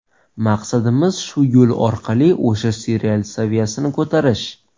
Maqsadimiz shu yo‘l orqali o‘sha serial saviyasini ko‘tarish.